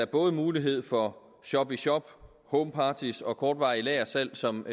både mulighed for shop in shop homeparties og kortvarige lagersalg som